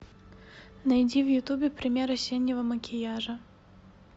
найди в ютубе пример осеннего макияжа